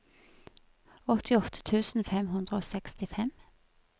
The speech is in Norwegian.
åttiåtte tusen fem hundre og sekstifem